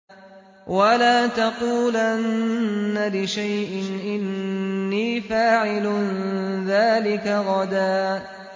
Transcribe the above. وَلَا تَقُولَنَّ لِشَيْءٍ إِنِّي فَاعِلٌ ذَٰلِكَ غَدًا